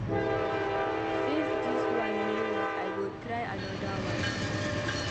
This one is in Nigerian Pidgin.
Since dis one no work I go try another one.